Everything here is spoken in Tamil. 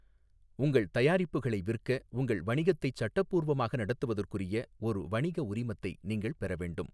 உங்கள் தயாரிப்புகளை விற்க, உங்கள் வணிகத்தைச் சட்டப்பூர்வமாக நடத்துவதற்குரிய ஒரு வணிக உரிமத்தை நீங்கள் பெற வேண்டும்.